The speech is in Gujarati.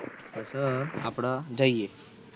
આપડા જયીયે